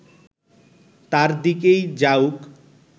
তার দিকেই যাউক